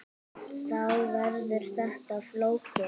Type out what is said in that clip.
Þá verður þetta flókið.